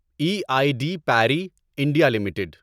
E I D Parry India limited